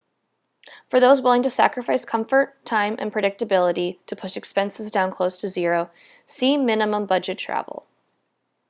for those willing to sacrifice comfort time and predictability to push expenses down close to zero see minimum budget travel